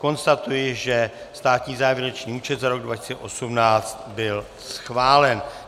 Konstatuji, že státní závěrečný účet za rok 2018 byl schválen.